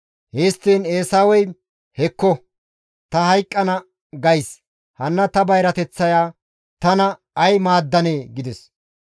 Histtiin Eesawey, «Hekko! Ta hayqqana gays hanna ta bayrateththaya tana ay maaddanee?» gides.